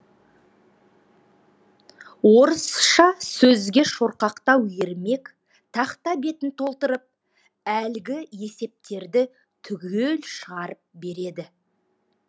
орысша сөзге шорқақтау ермек тақта бетін толтырып әлгі есептерді түгел шығарып береді